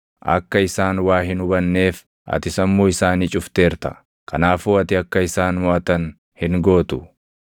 Akka isaan waa hin hubanneef ati sammuu isaanii cufteerta; kanaafuu ati akka isaan moʼatan hin gootu.